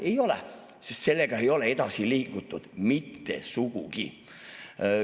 Ei ole, sest sellega ei ole edasi liigutud, mitte sugugi.